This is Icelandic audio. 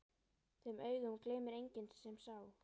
Þeim augum gleymir enginn sem sá.